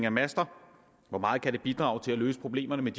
af master hvor meget kan de bidrage til at løse problemerne et